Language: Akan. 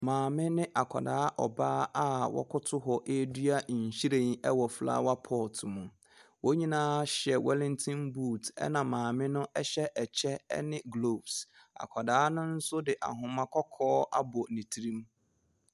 Maame ne akwadaa ɔbaa a wɔkoto hɔ redua nhwiren wɔ flower pot mu. Wɔn nyinaa hyɛ wellinton boot, ɛna maame no hyɛ ɛkyɛ ne gloves. Akwadaa no nso de ahoma kɔkɔɔ abɔ ne tirim.